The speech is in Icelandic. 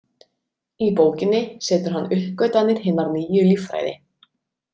Í bókinni setur hann uppgötvanir hinnar nýju líffræði.